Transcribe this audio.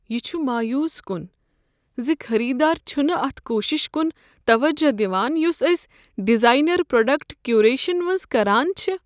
یہ چھ مایوس کن ز خریدار چھنہٕ اتھ کوششس کن توجہ دوان یۄس أسۍ ڈیزاینر پرٛوڈکٹ کیوریشنس منز کران چھ۔